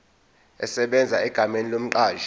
esebenza egameni lomqashi